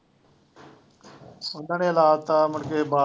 ਉਹਨਾ ਲਾ ਤਾ ਮੁੜਕੇ ਬਾਗ